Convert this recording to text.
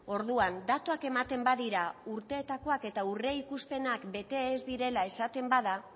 orduan datuak ematen badira urteetakoak eta aurreikuspenak bete ez direla esaten bada